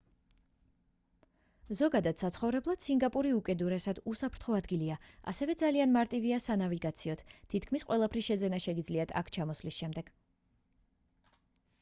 ზოგადად საცხოვრებლად სინგაპური უკიდურესად უსაფრთხო ადგილია ასევე ძალიან მარტივია სანავიგაციოდ თითქმის ყველაფრის შეძენა შეგიძლიათ აქ ჩამოსვლის შემდეგ